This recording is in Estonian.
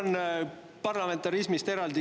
Mul on eraldi küsimus parlamentarismi kohta.